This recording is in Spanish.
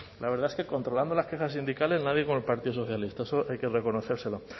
la verdad es que controlando las quejas sindicales nadie con el partido socialista eso hay que reconocérselo